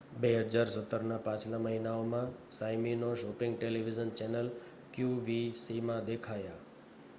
2017ના પાછલા મહિનાઓમાં સાઇમિનૉ શૉપિંગ ટેલિવિઝન ચૅનલ qvcમાં દેખાયા